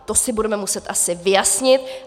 To si budeme muset asi vyjasnit.